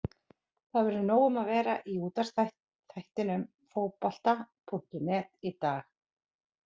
Það verður nóg um að vera í útvarpsþættinum Fótbolta.net í dag.